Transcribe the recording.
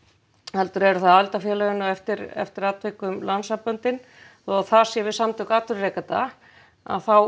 heldur eru það aðildarfélögin og eftir eftir atvikum landssamböndin þó að það sé við samtök atvinnurekenda að þá